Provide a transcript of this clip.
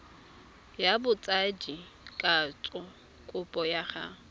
ya botsadikatsho kopo ya go